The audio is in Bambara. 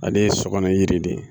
Ale ye sɔ kɔnɔ yiri de ye